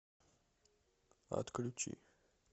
отключи